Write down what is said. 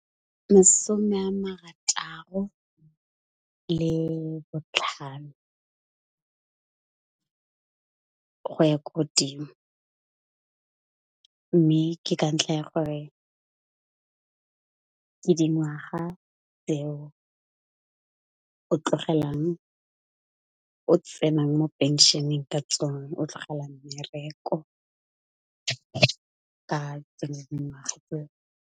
Masome a marataro le botlhano, go ya ko godimo, mme ke ka ntlha ya go re ke dingwaga tseo o tsenang mo pension-eng ka tsone o tlogelang mmereko ka tsone dingwaga tseo.